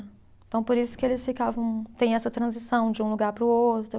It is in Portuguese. Então, por isso que eles ficavam. Tem essa transição de um lugar para o outro.